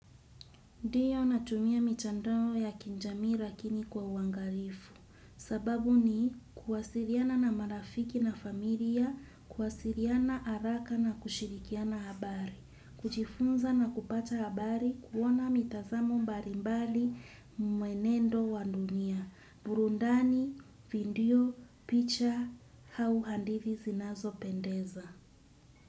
Ndiyo natumia mitandoo ya kijamii lakini kwa uangalifu. Sababu ni kuwasiliana na marafiki na familia, kuwasiliana haraka na kushirikiana habari. Kujifunza na kupata habari kuona mitazamo mbalimbali mwenendo wa dunia. Burundani, vidio, picha, au hadithi zinazo pendeza.